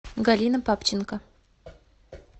галина папченко